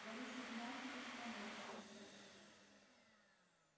борис игнатьевич поморщился